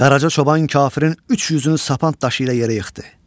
Qaraca çoban kafirin 300-ünü sapand daşı ilə yerə yıxdı.